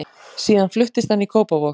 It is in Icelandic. Síðan fluttist hann í Kópavog.